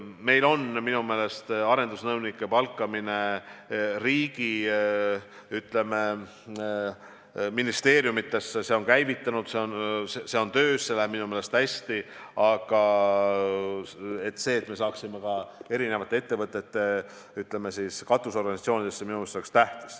Meil on arendusnõunike palkamine ministeeriumidesse käivitunud, see on töös, see läheb minu meelest hästi, aga tähtis on, et me saaksime neid ka eri ettevõtete katusorganisatsioonidesse.